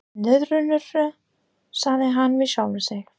Nöðrurnar, sagði hann við sjálfan sig.